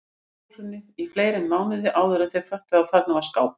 Gamla húsinu í fleiri mánuði áðuren þau föttuðu að þarna var skápur.